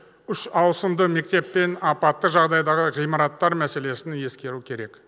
үш ауысымды мектеп пен апатты жағдайдағы ғимараттар мәселесін ескеру керек